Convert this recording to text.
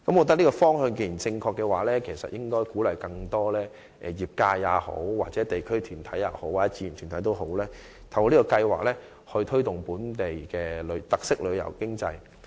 既然這是正確的方向，當局便應鼓勵更多業界人士、地區團體和志願團體透過該計劃，推動本地特色旅遊經濟。